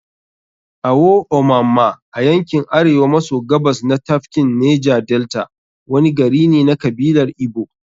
Awo-Omamma, a yankin Arewa maso Gabas na tafkin Neja-Delta. wani gari ne na kabilar Igbo.